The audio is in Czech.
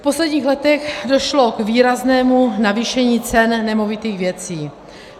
V posledních letech došlo k výraznému navýšení cen nemovitých věcí.